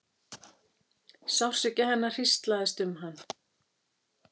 Sársauki hennar hríslaðist um hann.